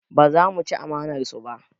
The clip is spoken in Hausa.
Ba za mu ci amanar su ba